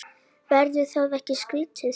Verður það ekki skrítið?